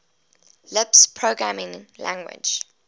lisp programming language